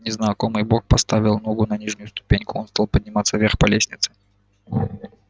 незнакомый бог поставил ногу на нижнюю ступеньку он стал подниматься вверх по лестнице